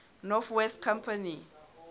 north west company